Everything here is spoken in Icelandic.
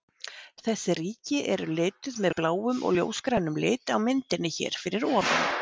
Þessi ríki eru lituð með bláum og ljósgrænum lit á myndinni hér fyrir ofan.